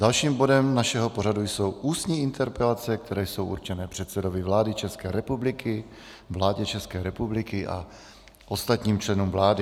Dalším bodem našeho pořadu jsou ústní interpelace, které jsou určené předsedovi vlády České republiky, vládě České republiky a ostatním členům vlády.